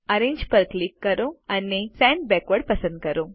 arrange પર click કરો અને સેન્ડ બેકવર્ડ પસંદ કરો